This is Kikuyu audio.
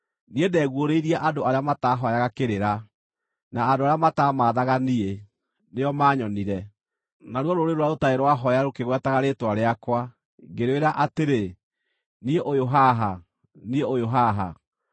“Niĩ ndeguũrĩirie andũ arĩa mataahooyaga kĩrĩra; na andũ arĩa mataamaathaga niĩ, nĩo maanyonire. Naruo rũrĩrĩ rũrĩa rũtarĩ rwahooya rũkĩgwetaga rĩĩtwa rĩakwa, ngĩrwĩra atĩrĩ: ‘Niĩ ũyũ haha, niĩ ũyũ haha.’